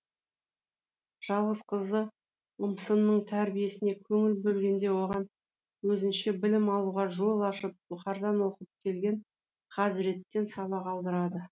жалғыз қызы ұмсынның тәрбиесіне көңіл бөлгенде оған өзінше білім алуға жол ашып бұқардан оқып келген хазіреттен сабақ алдырады